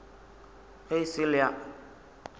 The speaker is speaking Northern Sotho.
ge e sa le a